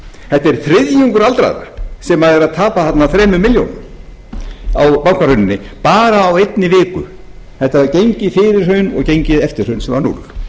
þetta er þriðjungur aldraðra sem er að tapa þarna þremur milljónum á bankahruninu bara á einni viku þetta er gengin fyrir hrun og gengið eftir hrun sem var núll